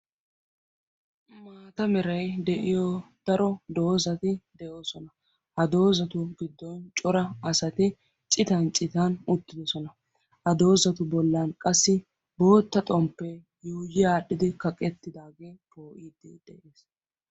Maata merai de'iyo daro doozati de'oosona. ha doozatu biddon cora asati citan citan uttidosona. ha doozatu bollan qassi bootta xomppee yooyi aadhdhidi kaqqettidaagee poo'iiddi de'ees.